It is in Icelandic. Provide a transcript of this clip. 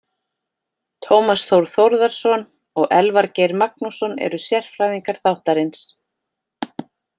Tómas Þór Þórðarson og Elvar Geir Magnússon eru sérfræðingar þáttarins.